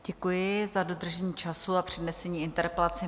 Děkuji za dodržení času a přednesení interpelace.